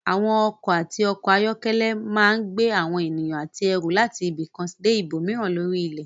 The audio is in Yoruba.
Àwọn ọkọ̀ àti ọkọ̀-ayọ́kẹ́lẹ́ máa gbé àwọn ènìyàn àti ẹrù láti ibi kan dé ibòmíràn lórí ilẹ̀.